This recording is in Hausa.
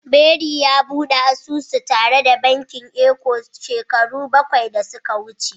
Barry ya bude asusu tare da bankin Eco shekaru bakwai da suka wuce.